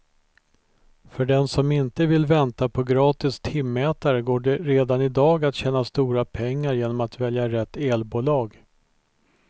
För den som inte vill vänta på gratis timmätare går det redan i dag att tjäna stora pengar genom att välja rätt elbolag.